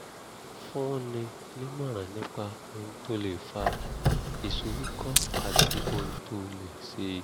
fúnni nímọ̀ràn nípa ohun tó lè fa ìsoríkọ́ àti ohun tó lè ṣe é